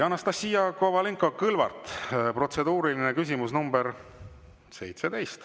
Anastassia Kovalenko-Kõlvart, protseduuriline küsimus nr 17.